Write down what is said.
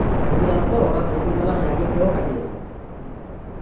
এমন কি যেন জানো তো ওরা দুতিন বেলা maggi খেয়েও কাটিয়েছে